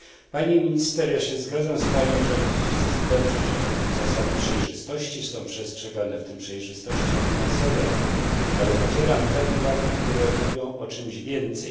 Pani minister, ja zgadzam się z panią, że to dobrze, iż zasady przejrzystości są przestrzegane, w tym przejrzystości finansowej, ale podzielam te uwagi, które mówią o czymś więcej.